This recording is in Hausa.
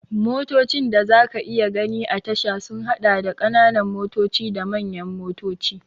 Motocin da za ka iya gani a tasha sun haɗa da, ƙananan motoci da manyan motoci.